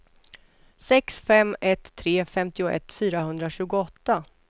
sex fem ett tre femtioett fyrahundratjugoåtta